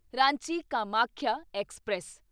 Ranchi Kamakhya express